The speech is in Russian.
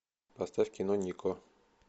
поставь кино нико